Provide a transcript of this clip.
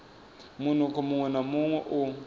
munukho muṅwe na muṅwe u